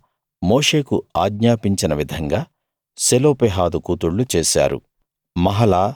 యెహోవా మోషేకు ఆజ్ఞాపించిన విధంగా సెలోపెహాదు కూతుళ్ళు చేశారు